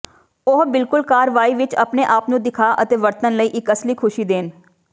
ਉਹ ਬਿਲਕੁਲ ਕਾਰਵਾਈ ਵਿੱਚ ਆਪਣੇ ਆਪ ਨੂੰ ਦਿਖਾ ਅਤੇ ਵਰਤਣ ਲਈ ਇੱਕ ਅਸਲੀ ਖੁਸ਼ੀ ਦੇਣ